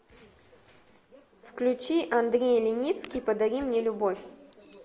включи андрей леницкий подари мне любовь